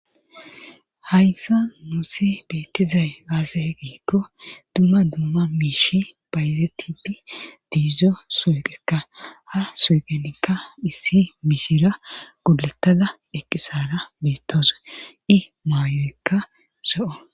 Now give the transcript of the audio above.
hayssa nuusi beettizay aze giikko dumma dumma miishi bayzetidi diizzo suuqekka ha suuqenikka issi mishira gulunttada eqqisara beettosa i maayoykka ro7o